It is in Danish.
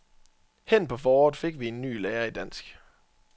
Hen på foråret fik vi en ny lærer i dansk.